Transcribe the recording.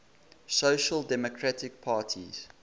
social democratic parties